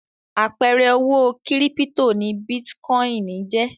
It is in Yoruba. Àpẹẹrẹ owó kírípító ni bítíkọ́ìn jẹ́.